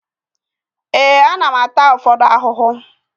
Ee, ana m ata ụfọdụ ahụhụ